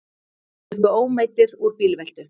Sluppu ómeiddir úr bílveltu